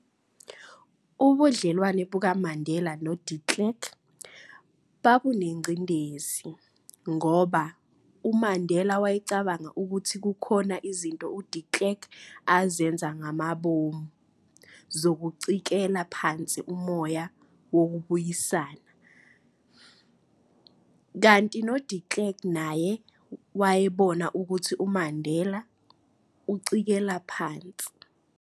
Ubudlelwane bukaMandela noDe Klerk babunengcindezi, ngoba uMandela wayecabanga ukuthi kukhona izinto uDe Klerk azenza ngamabomu zokucikela phansi umoya wokubuyisana, kanti noDe Klerk naye wayebona ukuthi uMandela umcikela phansi.